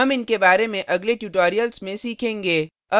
हम इनके बारे में अगले tutorials में सीखेंगे